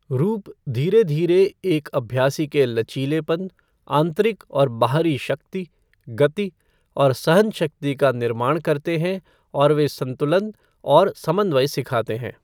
रूप धीरे धीरे एक अभ्यासी के लचीलेपन, आंतरिक और बाहरी शक्ति, गति और सहनशक्ति का निर्माण करते हैं और वे संतुलन और समन्वय सिखाते हैं।